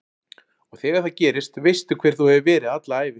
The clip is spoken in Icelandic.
Og þegar það gerist veistu hver þú hefur verið alla ævi